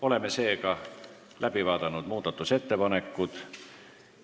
Oleme muudatusettepanekud läbi vaadanud.